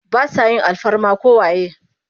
Ba sa yin alfarma ko waye.